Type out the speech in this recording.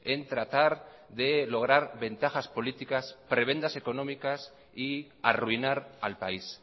en tratar de lograr ventajas políticas prebendas económicas y arruinar al país